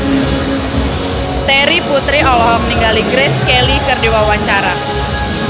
Terry Putri olohok ningali Grace Kelly keur diwawancara